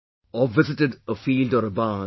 Or visit a field or a barn